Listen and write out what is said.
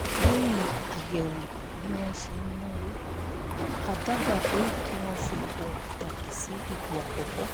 lẹ́yìn àyẹ̀wò bí wọ́n ṣe ń náwó a dábàá pé kí wọ́n fi ohun pàtàkì sí ipò àkọ́kọ́